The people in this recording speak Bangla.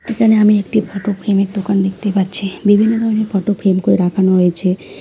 এখানে আমি একটি ফটো ফ্রেম -এর দোকান দেখতে পাচ্ছি বিভিন্ন ধরনের ফটো ফ্রেম কো রাখানো রয়েছে।